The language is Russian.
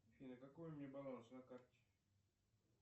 афина какой у меня баланс на карте